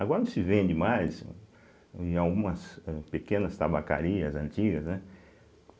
Agora não se vende mais em algumas pequenas tabacarias antigas, né?